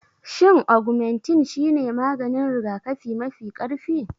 Shin Ogmentin shine maganin rigakafi mafi ƙarfi?